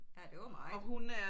Ja det var meget